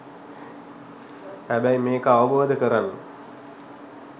හැබැයි මේක අවබෝධ කරන්න